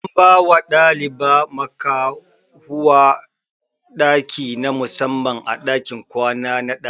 An bawa ɗaliba makahuwa ɗaki na musamman a ɗakin kwana na ɗalibai